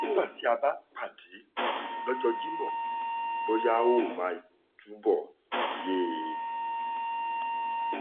nígbà tá a bá pàdé lọ́jọ́ jimo bóyá ó máa túbọ̀ yé e